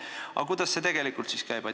Aga kuidas see tegelikult käib?